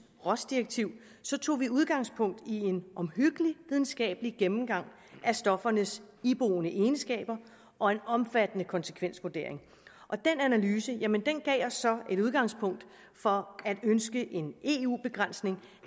rohs direktiv tog vi udgangspunkt i en omhyggelig videnskabelig gennemgang af stoffernes iboende egenskaber og en omfattende konsekvensvurdering og den analyse gav os så et udgangspunkt for at ønske en eu begrænsning